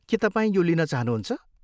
के तपाईँ यो लिन चाहनुहुन्छ?